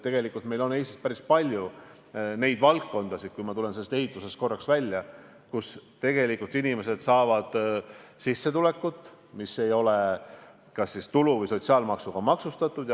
Tegelikult on meil Eestis päris palju probleemseid valdkondi – ma tulen korraks ehitusest välja –, kus tegelikult inimesed saavad sissetulekut, mis ei ole kas tulu- või sotsiaalmaksuga maksustatud.